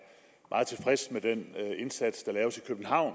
meget tilfreds med den indsats der laves i københavn